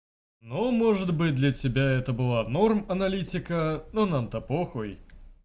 ну может быть для тебя это было норм аналитика но нам-то похуй